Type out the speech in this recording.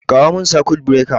Kawo min sakut birekar